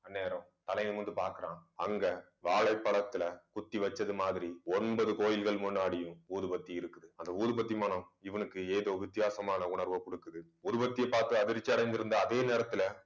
அந்நேரம் தலை நிமிர்ந்து பார்க்கிறான் அங்க வாழைப்பழத்துல குத்தி வச்சது மாதிரி ஒன்பது கோயில்கள் முன்னாடியும் ஊதுபத்தி இருக்குது. அந்த ஊதுபத்தி மணம் இவனுக்கு ஏதோ வித்தியாசமான உணர்வை கொடுக்குது. உருவத்தை பார்த்து அதிர்ச்சி அடைந்திருந்த அதே நேரத்துல